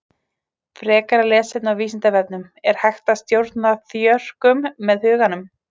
Frekara lesefni á Vísindavefnum Er hægt að stjórna þjörkum með huganum?